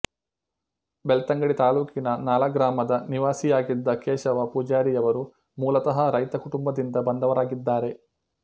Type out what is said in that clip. ಬೆಳ್ತಂಗಡಿ ತಾಲೂಕಿನ ನಾಳ ಗ್ರಾಮದ ನಿವಾಸಿಯಾಗಿದ್ದ ಕೇಶವ ಪೂಜಾರಿಯವರು ಮೂಲತಃ ರೈತ ಕುಟುಂಬದಿಂದ ಬಂದವರಾಗಿದ್ದಾರೆ